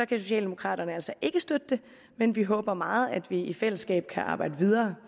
kan socialdemokraterne altså ikke støtte det men vi håber meget at vi i fællesskab kan arbejde videre